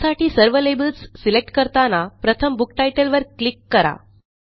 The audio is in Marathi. त्यासाठी सर्व लेबल्स सिलेक्ट करताना प्रथम बुक टायटलवर क्लिक करा